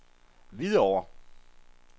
Hvidovre